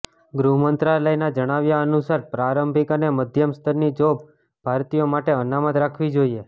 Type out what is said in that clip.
ગૃહમંત્રાલયના જણાવ્યા અનુસાર પ્રારંભિક અને મધ્યમ સ્તરની જોબ ભારતીયો માટે અનામત રાખવી જોઈએ